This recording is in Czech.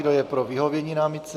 Kdo je pro vyhovění námitce?